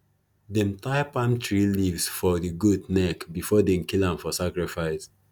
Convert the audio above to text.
them tie palm tree leaves for the goat neck before they kill am for sacrifice